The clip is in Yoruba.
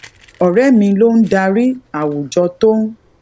òré mi ló ń darí àwùjọ tó ń